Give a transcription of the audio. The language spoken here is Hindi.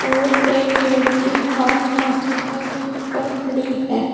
और एक लड़की हाथ माथे पर रख कर खड़ी है।